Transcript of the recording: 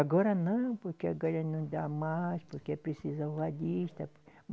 Agora não, porque agora não dá mais, porque é preciso avalista.